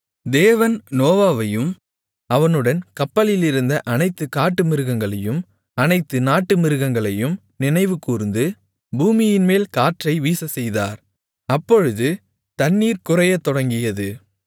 தேவன் நோவாவையும் அவனுடன் கப்பலிலிருந்த அனைத்து காட்டுமிருகங்களையும் அனைத்து நாட்டுமிருகங்களையும் நினைவுகூர்ந்து பூமியின்மேல் காற்றை வீசச்செய்தார் அப்பொழுது தண்ணீர் குறையத் தொடங்கியது